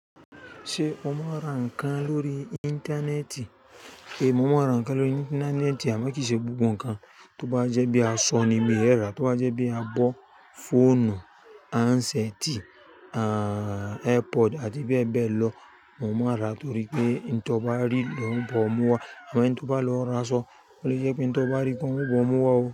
Ṣé o mọn àrà nkàn lórí Íńtánẹ́ẹ̀tì? Momò nrà nkàn lórí Íńtánẹ́ẹ̀tì àmọ́ kìí ṣe gbogbo nkàn tó bá jẹ́ bí a sọ ní mí èrà, tó bá jẹ́ bí a bọ́ fóònù, áńṣẹ́tì, áà AirPods àti bẹ́ẹ̀ bẹ́ẹ̀ lọ momọ rà torí pé ohun tó bá rí niwọ bọ̀ mú wá àmọ́ ẹni tí ó bá lọ ra sọ, ó lè jẹ́ pé ohun tóbá rí koni woń bọ̀ mú wá o.